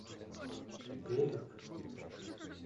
релик